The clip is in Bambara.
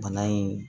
Bana in